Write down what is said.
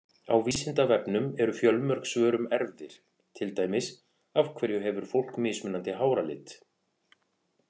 Á Vísindavefnum eru fjölmörg svör um erfðir, til dæmis: Af hverju hefur fólk mismunandi háralit?